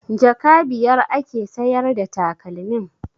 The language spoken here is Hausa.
Jaka biyar ake sayar da takalmin?